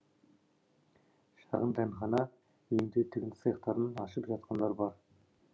шағын дәмхана үйінде тігін цехтарын ашып жатқандар бар